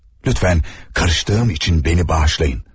Lütfen karıştığım için beni bağışlayın.